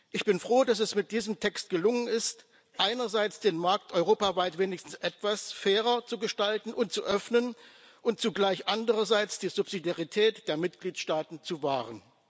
Ich bin froh, dass es mit diesem Text gelungen ist, einerseits den Markt europaweit wenigstens etwas fairer zu gestalten und zu öffnen und zugleich andererseits die Subsidiarität der Mitgliedstaaten zu wahren.